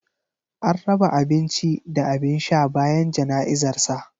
An raba abinci da abin sha bayan jana'izar sa.